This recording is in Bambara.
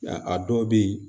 Ya a dɔw bɛ ye